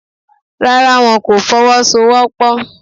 Rárá, wọn kò Fọwọ́sowọ́pọ̀